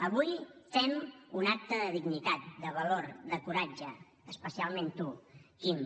avui fem un acte de dignitat de valor de coratge especialment tu quim